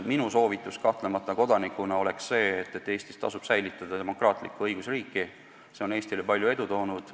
Minu soovitus kodanikuna on kahtlemata see, et Eestis peab säilima demokraatlik õigusriik, see on Eestile palju edu toonud.